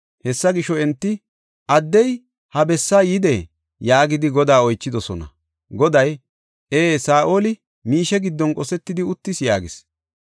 Hessa gisho enti, “Addey ha bessaa yidee?” yaagidi Godaa oychidosona. Goday, “Ee, Saa7oli miishe giddon qosetidi uttis” yaagis.